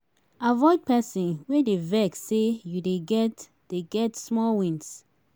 avoid pesin wey dey vex sey you dey get dey get small wins